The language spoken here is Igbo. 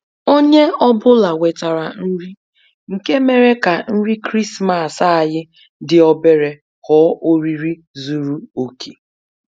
Onye ọ bụla wetara nri, nke mere ka nri krismas anyị dị obere ghọọ oriri zuru oke